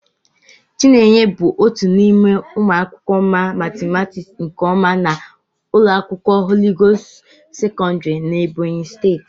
Chinenye bụ otu n'ime ụmụ akwụkwọ ma matịmatịks nke ọma na ụlọ akwụkwọ Holị Gost sekọndrị n'Ebonyi steeti.